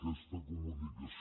aquesta comunicació